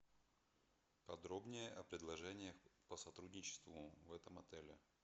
подробнее о предложениях по сотрудничеству в этом отеле